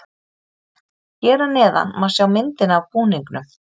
Hér að neðan má sjá myndina af búningunum.